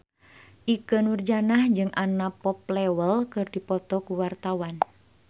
Ikke Nurjanah jeung Anna Popplewell keur dipoto ku wartawan